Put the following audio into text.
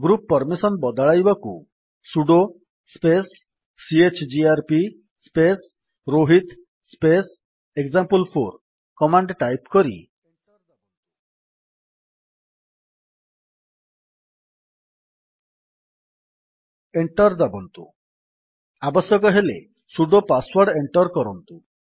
group permission ବଦଳାଇବାକୁ sudo space chgrp space Rohit space example four command type କରି enter ଦାବନ୍ତୁ ଆବଶ୍ୟକ ହେଲେ ସୁଡୋ ପାଶୱର୍ଡ ଏଣ୍ଟର୍ କରନ୍ତୁ